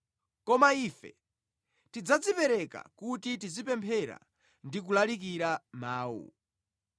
Koma ife tidzadzipereka kuti tizipemphera ndi kulalikira mawu.”